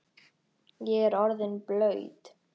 Ég er orðinn blaut